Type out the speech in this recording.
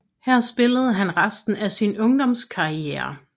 Her spillede han resten af sin ungdomskarriere